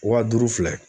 Wa duuru filɛ